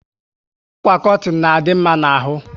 Àkwà kọtin na adị mma n'ahu